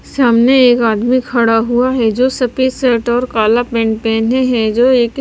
सामने एक आदमी खड़ा हुआ है जो सफेद शर्ट और काला पेंट पहने है जो एक--